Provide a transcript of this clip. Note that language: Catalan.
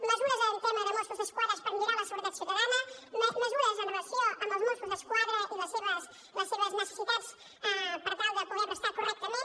mesures en tema de mossos d’esquadra per millorar la seguretat ciutadana mesures amb relació als mossos d’esquadra i les seves necessitats per tal de poder prestar correctament